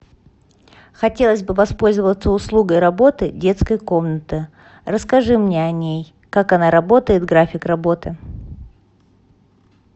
хотелось бы воспользоваться услугой работы детской комнаты расскажи мне о ней как она работает график работы